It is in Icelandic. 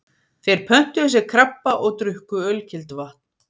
Þeir pöntuðu sér krabba og drukku ölkelduvatn.